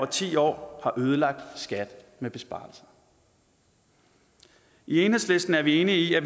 ti år har ødelagt skat med besparelser i enhedslisten er vi enige i at